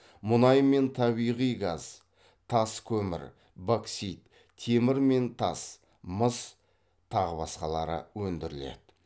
мұнай мен табиғи газ тас көмір боксит темір мен тас мыс тағы басқалары өндіріледі